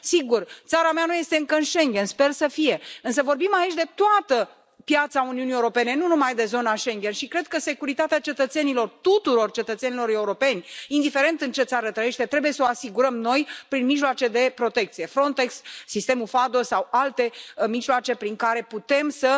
Sigur, țara mea nu este încă în Schengen, sper să fie, însă vorbim aici de toată piața Uniunii Europene, nu numai de zona Schengen, și cred că securitatea cetățenilor, a tuturor cetățenilor europeni, indiferent în ce țară trăiesc, trebuie să o asigurăm noi prin mijloace de protecție Frontex, sistemul FADO sau alte mijloace prin care putem să